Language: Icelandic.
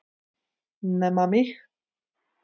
Nema mig!